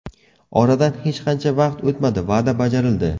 Oradan hech qancha vaqt o‘tmadi, va’da bajarildi.